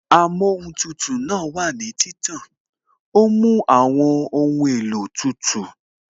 Amóhun tutù náà wà ní títàn, ó mú àwọn ohun èlò tútù